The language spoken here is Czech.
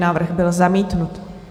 Návrh byl zamítnut.